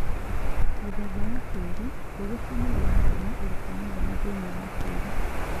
Mũthemba wa tĩri: mbegũ ciumagĩra Kuma ũrĩkũ mũnene thĩinĩ wa tĩri